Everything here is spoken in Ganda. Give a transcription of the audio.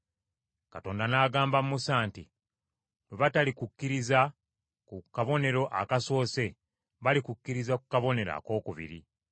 Mukama n’agamba Musa nti, “Bwe batalikukkiririza ku kabonero akasoose, balikukkiririza ku kabonero akookubiri.